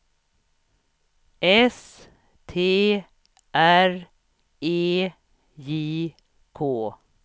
S T R E J K